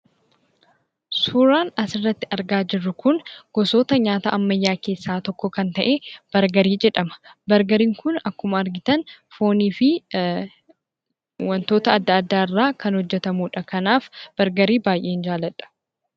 Suuran asirratti argaa jirru kun gosoota nyaata ammayyaa keessaa tokko kan ta'e Bargarii jedhama. Bargariin kun akkuma argitan foonii fi wantoota adda addaa irraa kan hojjetamudha. Kanaaf bargarii baay'een jaaladha.